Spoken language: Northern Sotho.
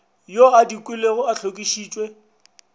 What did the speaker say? yo a dikilwego a hlokišitšwe